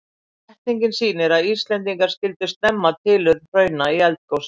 Setningin sýnir að Íslendingar skildu snemma tilurð hrauna í eldgosum.